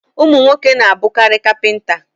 Ụmụ nwoke n'abụkarị kapịnta